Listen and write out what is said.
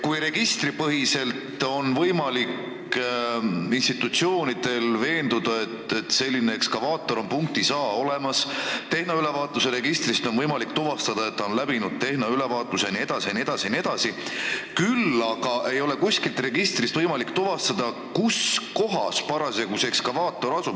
Institutsioonidel on võimalik registripõhiselt veenduda, et vajalik ekskavaator on punktis A olemas, tehnoülevaatuse registrist on võimalik tuvastada, et ta on käinud tehnoülevaatusel jne, küll aga ei ole ühestki registrist võimalik tuvastada, kuskohas täpselt see ekskavaator parasjagu asub.